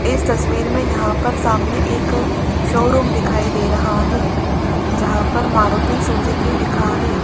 इस तस्वीर में यहां पर सामने एक शोरूम दिखाई दे रहा है जहां पर मारुति सुजुकी लिखा है।